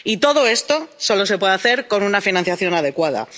Y todo esto solo se puede hacer con una financiación adecuada.